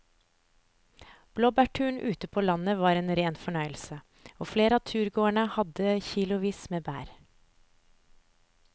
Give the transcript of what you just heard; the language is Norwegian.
Blåbærturen ute på landet var en rein fornøyelse og flere av turgåerene hadde kilosvis med bær.